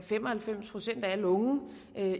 fem og halvfems procent af alle unge